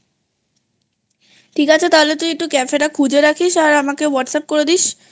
ঠিক আছে তাহলে তুই Cafe টা খুঁজে রাখিস আর আমাকে Whatsapp করে দিসI